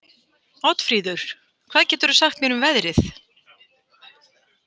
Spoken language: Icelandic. Oddfríður, hvað geturðu sagt mér um veðrið?